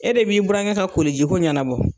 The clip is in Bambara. E de b'i burankɛ ka koliji ko ɲanabɔ.